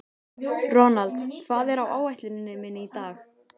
Ronald, hvað er á áætluninni minni í dag?